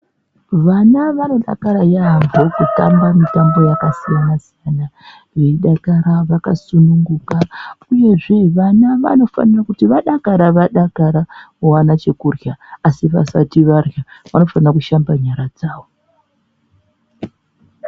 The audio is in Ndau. Vana vanodakara yaamhpo kutamba mitambo yakasiyana siyana veidakara vakasungunuka uyezve vana vanofanira kuti vadakara vadakara vowana chokurya asi vasati varya vanofanira kushamba nyara dzavo.